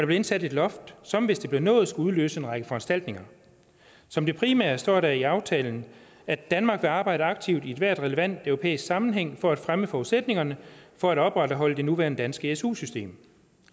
blev indsat et loft som hvis det blev nået skulle udløse en række foranstaltninger som det primære står der i aftalen at danmark vil arbejde aktivt i enhver relevant europæisk sammenhæng for at fremme forudsætningerne for at opretholde det nuværende danske su system